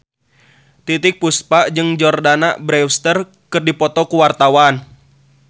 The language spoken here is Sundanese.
Titiek Puspa jeung Jordana Brewster keur dipoto ku wartawan